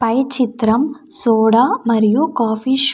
పై చిత్రం సోడా మరియు coffee show .